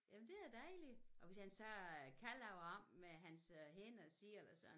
Jamen det da dejligt og hvis han så øh kan lave om med hans hænder selv og sådan